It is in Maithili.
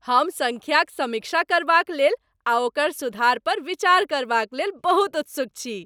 हम सङ्ख्याक समीक्षा करबाकलेल आ ओकर सुधार पर विचार करबाकलेल बहुत उत्सुक छी।